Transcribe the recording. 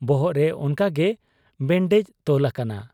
ᱵᱚᱦᱚᱜ ᱨᱮ ᱚᱱᱠᱟᱜᱮ ᱵᱮᱱᱰᱮᱡᱽ ᱛᱚᱞ ᱟᱠᱟᱱᱟ ᱾